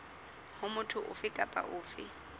ho motho ofe kapa ofe